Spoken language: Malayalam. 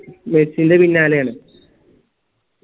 മെസ്സിൻറെ പിന്നാലെയാണ്